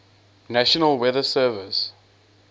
national weather service